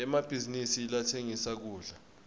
emabhizinisi latsengisa kudla